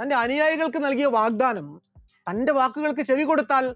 തന്റെ അനുയായികൾക്ക് നൽകിയ വാഗ്ദാനം തന്റെ വാക്കുകൾക്ക് ചെവികൊടുത്താൽ